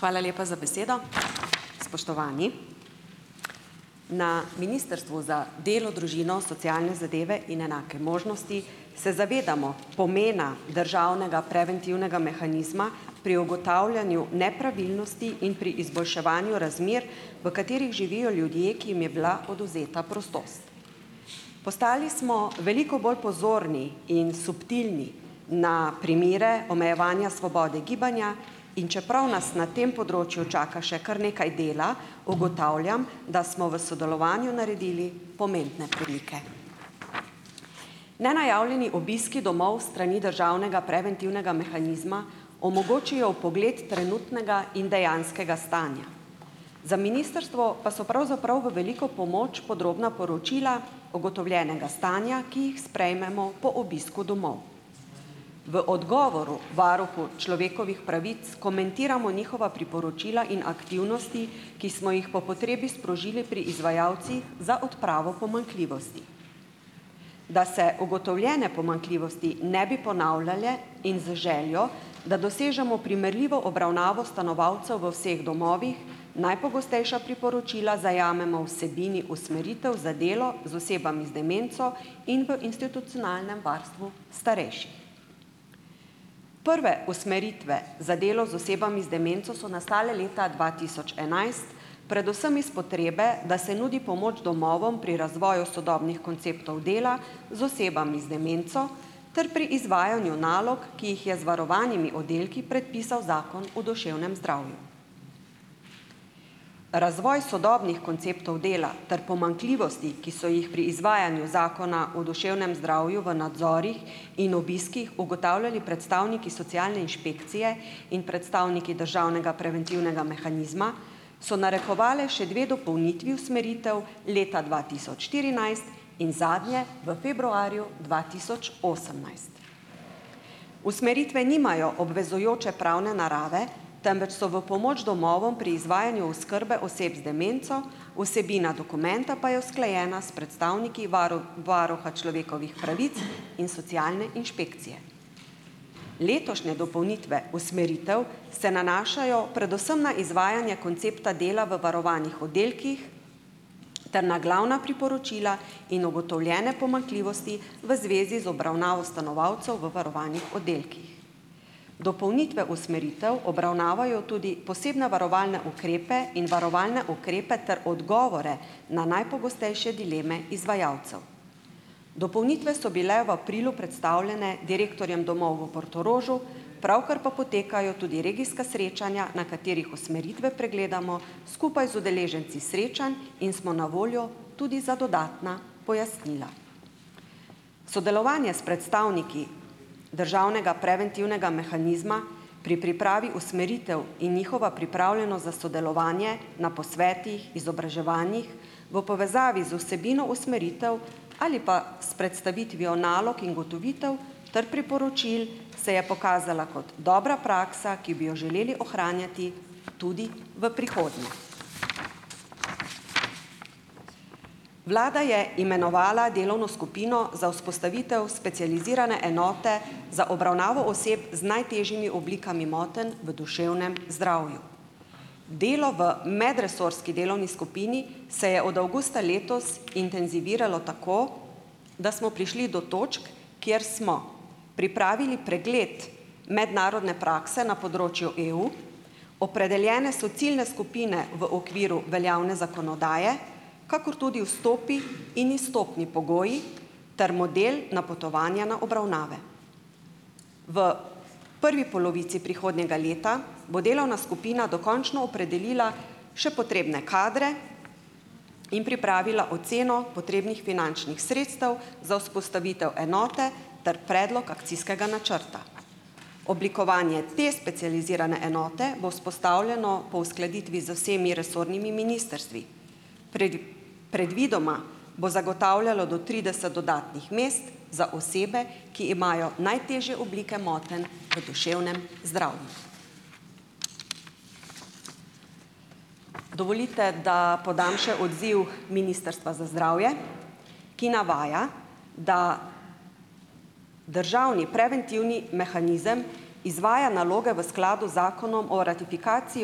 Hvala lepa za besedo. Spoštovani! Na Ministrstvu za delo, družino, socialne zadeve in enake možnosti se zavedamo pomena državnega preventivnega mehanizma pri ugotavljanju nepravilnosti in pri izboljševanju razmer, v katerih živijo ljudje, ki jim je bila odvzeta prostost. Postali smo veliko bolj pozorni in subtilni na primere omejevanja svobode gibanja, in čeprav nas na tem področju čaka še kar nekaj dela, ugotavljam, da smo v sodelovanju naredili pomembne premike. Nenajavljeni obiski domov s strani državnega preventivnega mehanizma omogočijo vpogled trenutnega in dejanskega stanja. Za ministrstvo pa so pravzaprav v veliko pomoč podrobna poročila ugotovljenega stanja, ki jih sprejmemo po obisku domov. V odgovoru varuhu človekovih pravic komentiramo njihova priporočila in aktivnosti, ki smo jih po potrebi sprožili pri izvajalcih za odpravo pomanjkljivosti. Da se ugotovljene pomanjkljivosti ne bi ponavljale in z željo, da dosežemo primerljivo obravnavo stanovalcev v vseh domovih, najpogostejša priporočila zajamemo vsebini usmeritev za delo z osebami z demenco in v institucionalnem varstvu starejših. Prve usmeritve za delo z osebami z demenco so nastale leta dva tisoč enajst predvsem iz potrebe, da se nudi pomoč domovom pri razvoju sodobnih konceptov dela z osebami z demenco ter pri izvajanju nalog, ki jih je z varovanimi oddelki predpisal Zakon o duševnem zdravju. Razvoj sodobnih konceptov dela ter pomanjkljivosti, ki so jih pri izvajanju Zakona o duševnem zdravju v nadzorih in obiskih ugotavljali predstavniki socialne inšpekcije in predstavniki državnega preventivnega mehanizma, so narekovale še dve dopolnitvi usmeritev leta dva tisoč štirinajst in zadnje v februarju dva tisoč osemnajst. Usmeritve nimajo obvezujoče pravne narave, temveč so v pomoč domovom pri izvajanju oskrbe oseb z demenco, vsebina dokumenta pa je usklajena s predstavniki varuha človekovih pravic in socialne inšpekcije. Letošnje dopolnitve usmeritev se nanašajo predvsem na izvajanja koncepta dela v varovanih oddelkih ter na glavna priporočila in ugotovljene pomanjkljivosti v zvezi z obravnavo stanovalcev v varovanih oddelkih. Dopolnitve usmeritev obravnavajo tudi posebne varovalne ukrepe in varovalne ukrepe ter odgovore na najpogostejše dileme izvajalcev. Dopolnitve so bile v aprilu predstavljene direktorjem domov v Portorožu, pravkar pa potekajo tudi regijska srečanja, na katerih usmeritve pregledamo skupaj z udeleženci srečanj in smo na voljo tudi za dodatna pojasnila. Sodelovanje s predstavniki državnega preventivnega mehanizma pri pripravi usmeritev in njihova pripravljenost za sodelovanje na posvetih, izobraževanjih v povezavi z vsebino usmeritev ali pa s predstavitvijo nalog in ugotovitev ter priporočil se je pokazala kot dobra praksa, ki bi jo želeli ohranjati tudi v prihodnje. Vlada je imenovala delovno skupino za vzpostavitev specializirane enote za obravnavo oseb z najtežjimi oblikami motenj v duševnem zdravju. Delo v medresorski delovni skupini se je od avgusta letos intenziviralo tako, da smo prišli do točk, kjer smo pripravili pregled mednarodne prakse na področju EU, opredeljene so ciljne skupine v okviru veljavne zakonodaje, kakor tudi vstopni in izstopni pogoji ter model napotovanja na obravnave. V prvi polovici prihodnjega leta bo delovna skupina dokončno opredelila še potrebne kadre in pripravila oceno potrebnih finančnih sredstev za vzpostavitev enote ter predlog akcijskega načrta. Oblikovanje te specializirane enote bo vzpostavljeno po uskladitvi z vsemi resornimi ministrstvi. predvidoma bo zagotavljalo do trideset dodatnih mest za osebe, ki imajo najtežje oblike motenj v duševnem zdravju. Dovolite, da podam še odziv Ministrstva za zdravje, ki navaja, da državni preventivnih mehanizem izvaja naloge v skladu z Zakonom o ratifikaciji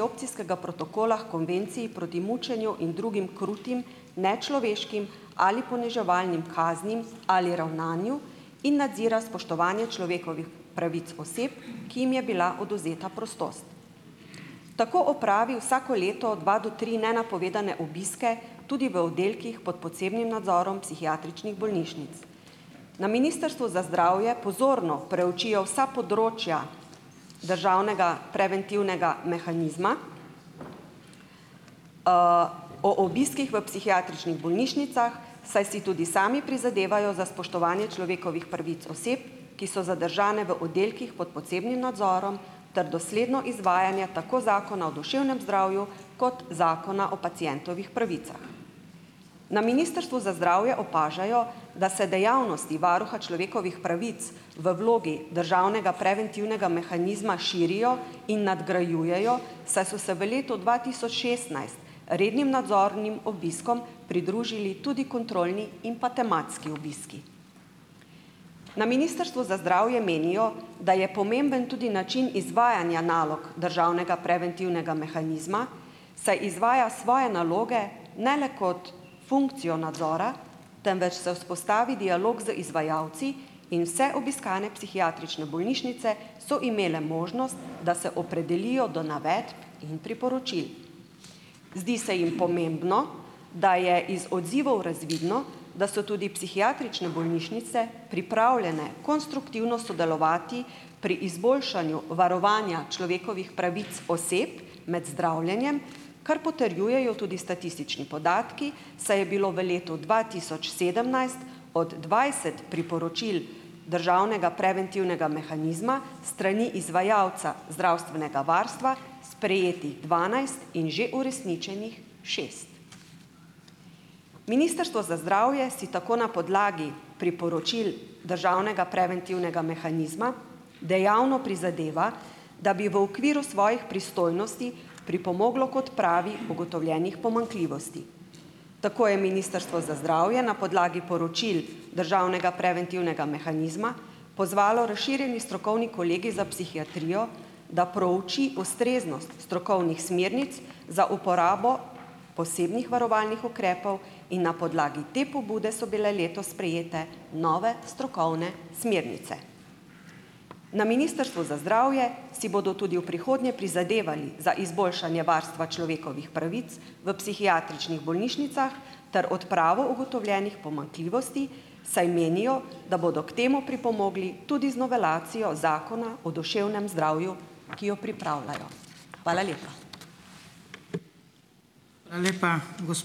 Opcijskega protokola h Konvenciji proti mučenju in drugim krutim, nečloveškim ali poniževalnim kaznim ali ravnanju in nadzira spoštovanje človekovih pravic oseb, ki jim je bila odvzeta prostost. Tako opravi vsako leto dva do tri nenapovedane obiske tudi v oddelkih pod posebnim nadzorom psihiatričnih bolnišnic. Na Ministrstvu za zdravje pozorno preučijo vsa področja državnega preventivnega mehanizma o obiskih v psihiatričnih bolnišnicah, saj si tudi sami prizadevajo za spoštovanje človekovih pravic oseb, ki so zadržane v oddelkih pod posebnim nadzorom, ter dosledno izvajanje tako Zakona o duševnem zdravju kot Zakona o pacientovih pravicah. Na Ministrstvu za zdravje opažajo, da se dejavnosti varuha človekovih pravic v vlogi državnega preventivnega mehanizma širijo in nadgrajujejo, saj so se v letu dva tisoč šestnajst rednim nadzornim obiskom pridružili tudi kontrolni in pa tematski obiski. Na Ministrstvu za zdravje menijo, da je pomemben tudi način izvajanja nalog državnega preventivnega mehanizma, saj izvaja svoje naloge ne le kot funkcijo nadzora, temveč se vzpostavi dialog z izvajalci in vse obiskane psihiatrične bolnišnice so imele možnost, da se opredelijo do navedb in priporočil. Zdi se jim pomembno, da je iz odzivov razvidno, da so tudi psihiatrične bolnišnice pripravljene konstruktivno sodelovati pri izboljšanju varovanja človekovih pravic oseb med zdravljenjem, kar potrjujejo tudi statistični podatki, saj je bilo v letu dva tisoč sedemnajst od dvajset priporočil državnega preventivnega mehanizma s strani izvajalca zdravstvenega varstva sprejetih dvanajst in že uresničenih šest. Ministrstvo za zdravje si tako na podlagi priporočil državnega preventivnega mehanizma dejavno prizadeva, da bi v okviru svojih pristojnosti pripomoglo k odpravi ugotovljenih pomanjkljivosti. Tako je Ministrstvo za zdravje na podlagi poročil državnega preventivnega mehanizma pozvalo razširjeni strokovni kolegij za psihiatrijo, da prouči ustreznost strokovnih smernic za uporabo posebnih varovalnih ukrepov, in na podlagi te pobude so bile letos sprejete nove strokovne smernice. Na Ministrstvu za zdravje si bodo tudi v prihodnje prizadevali za izboljšanje varstva človekovih pravic v psihiatričnih bolnišnicah ter odpravo ugotovljenih pomanjkljivosti, saj menijo, da bodo k temu pripomogli tudi z novelacijo Zakona o duševnem zdravju, ki jo pripravljajo. Hvala lepa.